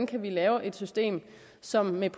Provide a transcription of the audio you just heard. kan lave et system som vel